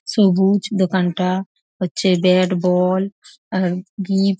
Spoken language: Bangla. সবুজ দোকানটা হচ্ছে ব্যাট বল এবং গিফ--